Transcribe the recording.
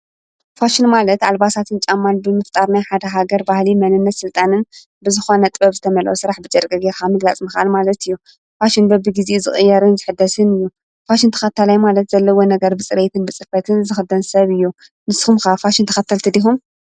ፋሽን ማለት ኣልባሳትን ጫማል ብምፍጣርናይ ሓደ ሃገር ባህሊ መንነት ሥልጣንን ብዝኾነ ጥበብ ዝተመሎ ሥራሕ ብጨረቀ ጌኻምግላጽ መካል ማለት እዩ። ፋሽን በቢ ጊዜ ዝቕየርን ዘኅደስን እ። ፋሽን ተኻተላይ ማለት ዘለዎ ነገር ብጽረይትን ብጽፈትን ዝኽደን ሰብ እዩ ንስኩምካ ፋሽን ተኸተልቲ ዲኩም?